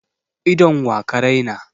Idon wa ka raina?